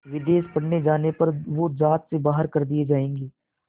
विदेश पढ़ने जाने पर वो ज़ात से बाहर कर दिए जाएंगे